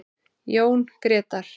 Jón Grétar.